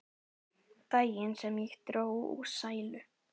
Daginn sem ég dó úr sælu.